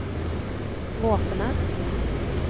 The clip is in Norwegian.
våpenet